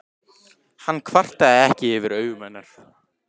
Hann kvartaði ekki yfir augum hennar.